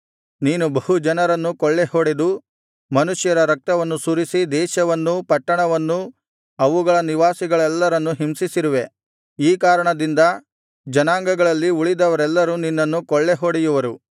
ನೀನು ಬಹು ಜನರನ್ನು ಕೊಳ್ಳೆಹೊಡೆದು ಮನುಷ್ಯರ ರಕ್ತವನ್ನು ಸುರಿಸಿ ದೇಶವನ್ನೂ ಪಟ್ಟಣವನ್ನೂ ಅವುಗಳ ನಿವಾಸಿಗಳೆಲ್ಲರನ್ನೂ ಹಿಂಸಿಸಿರುವೆ ಈ ಕಾರಣದಿಂದ ಜನಾಂಗಗಳಲ್ಲಿ ಉಳಿದವರೆಲ್ಲರೂ ನಿನ್ನನ್ನು ಕೊಳ್ಳೆ ಹೊಡೆಯುವರು